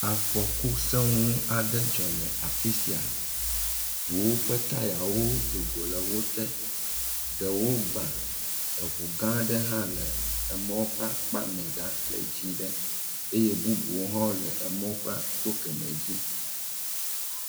Afɔku seŋu aɖe dzɔ le afi sia, ŋuwo ƒe tayawo do le wote ɖewo gbã eŋu gã aɖe hã le emɔ ƒe akpa me ɖa le dzɛ̃ ɖe, eye bubuwo hã le emɔ ƒe go kemɛ dzi